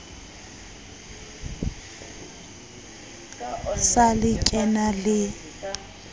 sa le ke na le